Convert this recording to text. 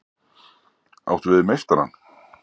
Áttu við meistarann?